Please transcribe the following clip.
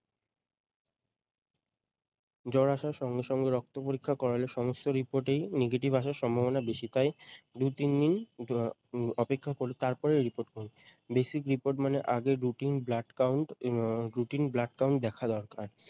জ্বর আসার সঙ্গে সঙ্গে রক্ত পরীক্ষা করালে সমস্ত report এই negative আসার সম্ভাবনা বেশি তাই দুই তিন দিন উম অপেক্ষা করে তার পরে report করুন basic report মানে আগে routine blood count um routine blood count দেখা দরকার ।